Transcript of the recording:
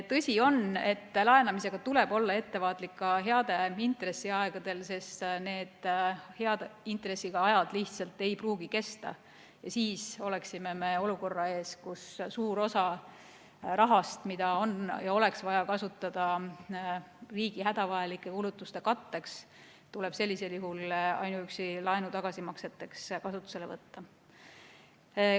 Tõsi on, et laenamisega tuleb olla ettevaatlik ka hea intressiga aegadel, sest need hea intressiga ajad lihtsalt ei pruugi kesta ja siis oleksime me olukorra ees, kus suur osa rahast, mida on ja oleks vaja kasutada riigi hädavajalike kulutuste katteks, tuleb sellisel juhul ainuüksi laenu tagasimakseteks kasutusele võtta.